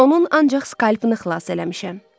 Onun ancaq skalpını xilas eləmişəm.